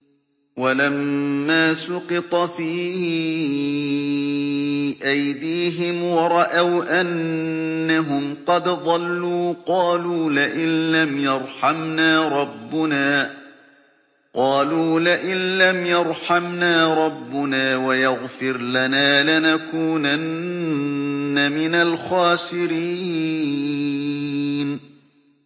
وَلَمَّا سُقِطَ فِي أَيْدِيهِمْ وَرَأَوْا أَنَّهُمْ قَدْ ضَلُّوا قَالُوا لَئِن لَّمْ يَرْحَمْنَا رَبُّنَا وَيَغْفِرْ لَنَا لَنَكُونَنَّ مِنَ الْخَاسِرِينَ